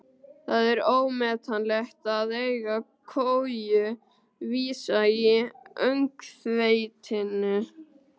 Það var ómetanlegt að eiga koju vísa í öngþveitinu.